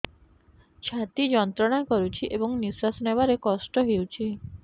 ଛାତି ଯନ୍ତ୍ରଣା କରୁଛି ଏବଂ ନିଶ୍ୱାସ ନେବାରେ କଷ୍ଟ ହେଉଛି